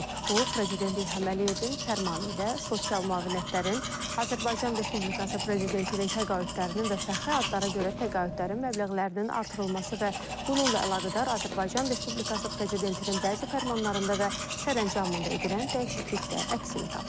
Bu, Prezident İlham Əliyevin fərmanı ilə sosial müavinətlərin, Azərbaycan Respublikası Prezidentinin təqaüdlərinin və fəxri adlara görə təqaüdlərin məbləğlərinin artırılması və bununla əlaqədar Azərbaycan Respublikası Prezidentinin bəzi fərmanlarında və sərəncamında edilən dəyişiklikdə əksini tapıb.